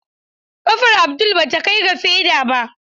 Kafar Abdul bata kai ga feda ba.